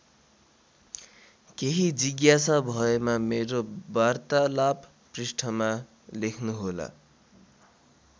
केही जिज्ञासा भएमा मेरो वार्तालाप पृष्ठमा लेख्नुहोला।